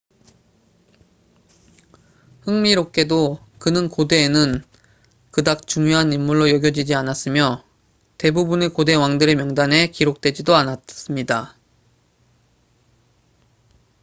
흥미롭게도 그는 고대에는 그닥 중요한 인물로 여겨지지 않았으며 대부분의 고대 왕들의 명단에 기록되지도 않았습니다